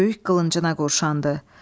Böyük qılıncına qurşandı.